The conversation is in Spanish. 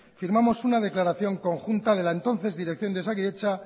firmamos una declaración conjunta de la entonces dirección de osakidetza